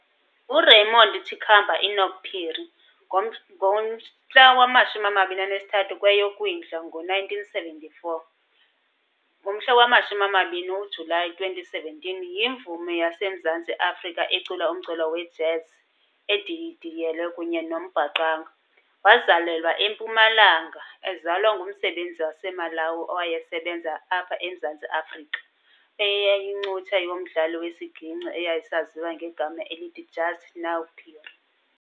URaymond Chikapa Enock Phiri, 23 kweyoKwindla ngo1947 - 12 uJulayi 2017, yimvumi yaseMzantsi Afrika ecula umculo we"jazz", edidiyelelwe kunye nombhaqanga, wazalelwa eMpumalanga ezalwa ngumsebenzi waseMalawi owayesebenza apha eMzantsi Afrika eyayincutshe yomdlali wesiginci eyayisaziwa ngegama elithi "Just Now" Phiri.